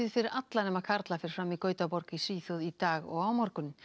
fyrir alla nema karla fer fram í Gautaborg í Svíþjóð í dag og á morgun